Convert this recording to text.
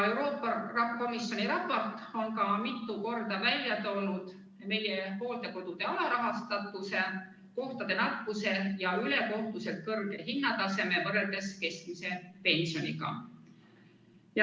Euroopa Komisjoni raport on samuti mitu korda välja toonud meie hooldekodude alarahastatuse, kohtade nappuse ja ülekohtuselt kõrge hinnataseme võrreldes keskmise pensioniga.